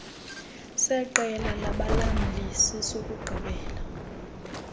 seqela labalamli sesokugqibela